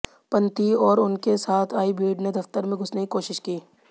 पंथी और उनके साथ आई भीड़ ने दफ्तर में घुसने की कोशिश की